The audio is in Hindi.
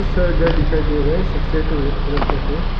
सारा घर दिखाई दे रहा है सफेद और रेड कलर का है।